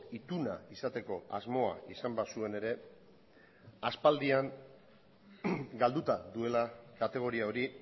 ituna izateko asmoa izan bazuen ere aspaldian galduta duela kategoria hori